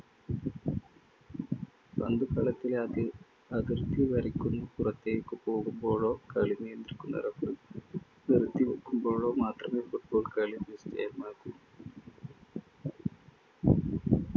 പന്തു കളത്തിലാകെ അതിർത്തി വരയ്ക്കു പുറത്തേക്കു പോകുമ്പോഴോ, കളി നിയന്ത്രിക്കുന്ന referee നിർത്തി വയ്ക്കുമ്പോഴോ മാത്രമേ football കളി